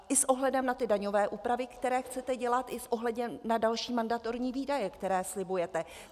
I s ohledem na ty daňové úpravy, které chcete dělat i s ohledem na další mandatorní výdaje, které slibujete.